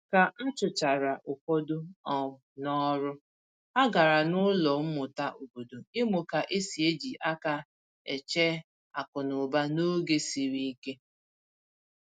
Ka a chụchara ụfọdụ um n'ọrụ, ha gàrà n’ụlọ mmụta obodo ịmụ ka esi eji aka e che akụnụba n’oge siri ike